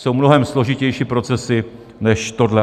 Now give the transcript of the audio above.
Jsou mnohem složitější procesy než tohle.